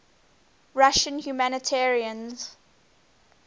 russian humanitarians